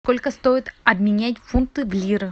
сколько стоит обменять фунты в лиры